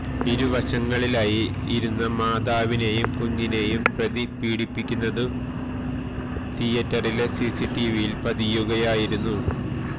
ഇരുവശങ്ങളിലായി ഇരുന്ന മാതാവിനെയും കുഞ്ഞിനെയും പ്രതി പീഡിപ്പിക്കുന്നതു തിയേറ്ററിലെ സിസിടിവിയില് പതിയുകയായിരുന്നു